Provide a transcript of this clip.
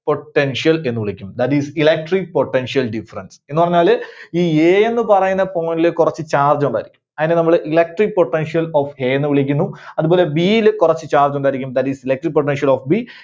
Potential എന്ന് വിളിക്കും That is Electric Potential Difference. എന്ന് പറഞ്ഞാല് ഈ A ന്നു പറയുന്ന point ല് കുറച്ച് charge ഉണ്ടായിരിക്കും. അതിനെ നമ്മള് Electric potential of A ന്നു വിളിക്കുന്നു. അതുപോലെ B യില് കുറച്ച് charge ഉണ്ടായിരിക്കും. That is Electric Potential of B